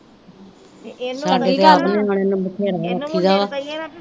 ਸਾਡੇ ਤੇ ਆਪ ਨਿਆਣਿਆਂ ਨੂੰ ਬਥੇਰਾ ਆਖੀ ਦਾ ਵਾ